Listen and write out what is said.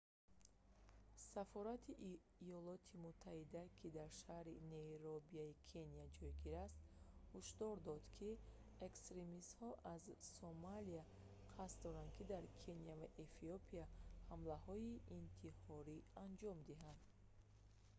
сафорати иёлоти муттаҳида ки дар шаҳри найробии кения ҷойгир аст ҳушдор дод ки эксримистҳо аз сомалия қасд доранд дар кения ва эфиопия ҳамлаҳои интиҳорӣ анҷом диҳанд